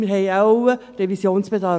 Wir haben wohl Revisionsbedarf.